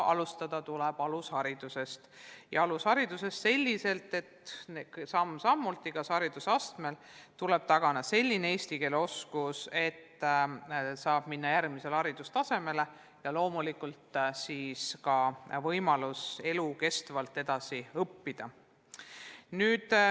Alustada tuleb alusharidusest ja samm-sammult tuleb igas haridusastmes tagada selline eesti keele oskus, et saab minna järgmisele haridustasemele, ja loomulikult annab see siis ka võimaluse elukestvalt edasi õppida.